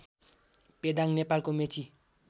पेदाङ नेपालको मेची